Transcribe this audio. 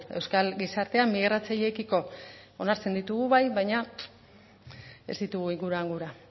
euskal gizartean migratzaileekiko onartzen ditugu bai baina ez ditugu inguruan gura